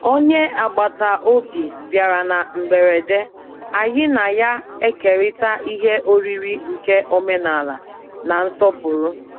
Onye agbata obi bịara na mberede, anyị na ya ekerita ihe oriri nke omenala na nsọpụrụ.